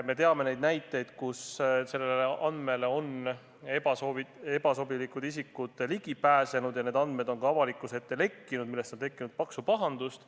Me teame juhtumeid, kus neile andmetele on ebasobilikud isikud ligi pääsenud ja need andmed on avalikkuse ette lekkinud, millest on tekkinud paksu pahandust.